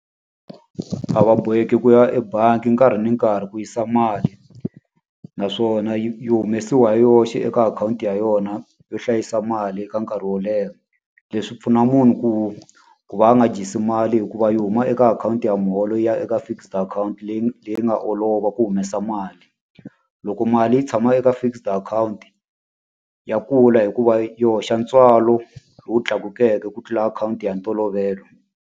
A va boheki ku ya ebangi nkarhi ni nkarhi ku yisa mali, naswona yi yi humesiwa hi yoxe eka akhawunti ya yona yo hlayisa mali eka nkarhi wo leha. Leswi pfuna munhu ku ku va a nga dyisi mali hi ku va yi huma eka akhawunti ya muholo yi ya eka fixed akhawunti leyi leyi nga olova ku humesa mali. Loko mali yi tshama eka fixed akhawunti, ya kula hikuva yi hoxa ntswalo lowu tlakukeke ku tlula akhawunti ya ntolovelo.